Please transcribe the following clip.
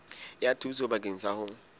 ya thuso bakeng sa ho